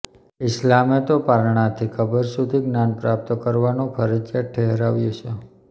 ઇસ્લામે તો પારણાથી કબર સુધી જ્ઞાાન પ્રાપ્ત કરવાનું ફરજિયાત ઠેરવ્યું છે